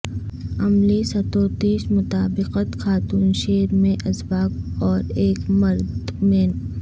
عملی ستوتیش مطابقت خاتون شیر میں اسباق اور ایک مرد مین